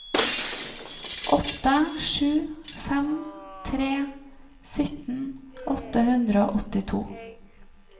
åtte sju fem tre sytten åtte hundre og åttito